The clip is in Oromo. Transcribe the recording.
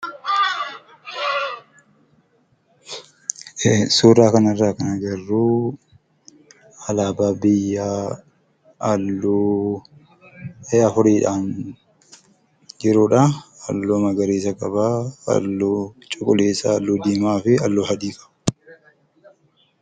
Suuraa kanarraa kan agarru alaabaa biyya halluu afuriidhaan jirudhaa. Halluu magariisa qaba , halluu cuquliisa, halluu diimaa fi halluu adii qaba.